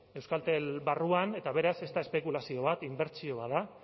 euskaltel barruan eta beraz ez da espekulazio bat inbertsio bat da